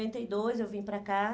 noventa e dois eu vim para cá.